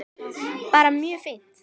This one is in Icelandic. Bara mjög fínt.